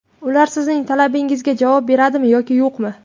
Ular sizning talabingizga javob beradimi yoki yo‘qmi?